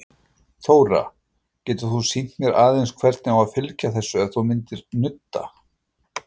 Þóra: Getur þú sýnt mér aðeins hvernig á að fylgja þessu, ef þú myndir nudda?